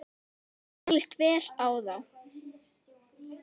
Mér líst vel á þá.